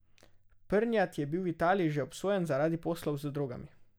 Prnjat je bil v Italiji že obsojen zaradi poslov z drogami.